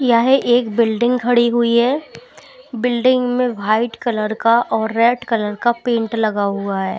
यह एक बिल्डिंग खड़ी हुई है बिल्डिंग में व्हाइट कलर का और रेड कलर का पेंट लगा हुआ है।